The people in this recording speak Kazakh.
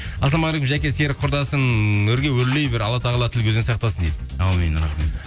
ассалаумағалейкум жаке серік құрдасым өрге өрлей бер алла тағала тіл көзден сақтасын дейді әумин рахмет